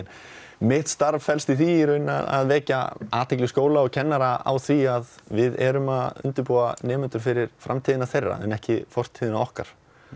mitt starf felst í því að vekja athygli skóla og kennara á því að við erum að undirbúa nemendur fyrir framtíðina þeirra en ekki fortíðina okkar